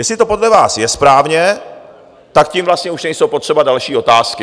Jestli to podle vás je správně, tak tím vlastně už nejsou potřeba další otázky.